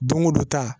Don go don ta